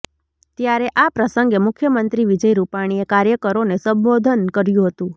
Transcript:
ત્યારે આ પ્રસંગે મુખ્યમંત્રી વિજય રૂપાણીએ કાર્યકરોને સંબોધન કર્યું હતું